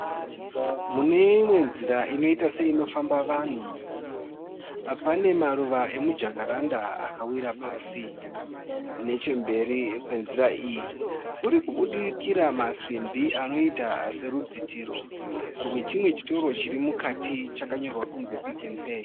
Mune imwe nzira inoita seinofamba vanhu, pane maruva emujakaranda akawira pasi nechemberi kwenzira iyi kurikubudikira masimbi anoita serudzitiro rwechimwe chitoro chirimukati chakanyorwa kunzi (PicknPay).